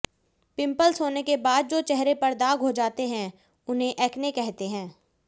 pimples होने के बाद जो चेहरे पर दाग हो जाते हैं उसे एक्ने कहते हैं